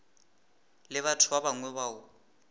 le batho ba bangwe bao